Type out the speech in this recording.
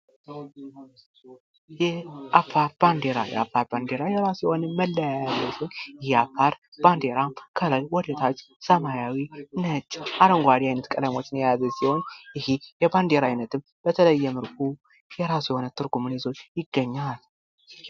የአፋር ባንዲራ የራሱ የሆነ መለያ ያለው ሲሆን፤ የአፋር ባንዲራ ከላይ ወደ ታች ሰማያዊ ፣ነጭ፣ አረንጓዴ አይነት ቀለሞችን የያዘ ሲሆን ፤ይህ የባንዲራ ዓይነትም በተለየ መልኩ የራሱ የሆነ ትርጉሙን ይዞ ይገኛል።